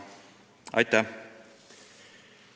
Aitäh!